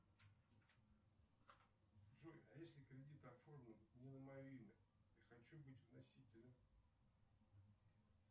джой а если кредит оформлен не на мое имя я хочу быть вносителем